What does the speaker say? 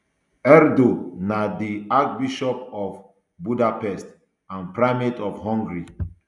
erdo na di archbishop of budapest and primate of hungary